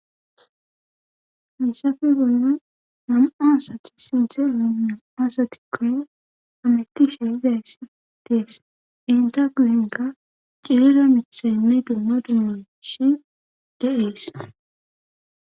Hasafe bolne namu7aasati sinthe alanamu asatikkoy ametisha izayssidees inta guyinka cirira mitisayinne dumma dumu shi deees